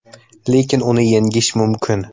Lekin uni yengish mumkin.